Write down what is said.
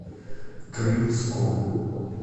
крымском